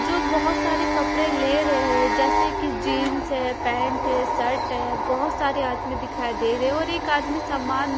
जो बहोत सारे कपड़े ले रहे हैं जैसे कि जींस है पैंट है शर्ट है बहौत सारे आदमी दिखाई दे रहे हैं और एक आदमी समान--